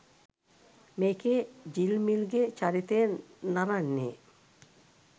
මේකෙ ජිල්මිල්ගෙ චරිතය නරන්නෙ